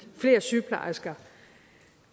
flere sygeplejersker